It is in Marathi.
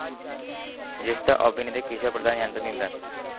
ज्येष्ठ अभिनेते किशोर प्रधान यांचं निधन